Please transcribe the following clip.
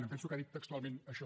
em penso que ha dit textualment això